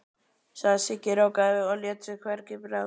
sagði Siggi ráðgjafi og lét sér hvergi bregða.